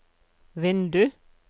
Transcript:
vindu